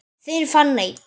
Þín Fanney.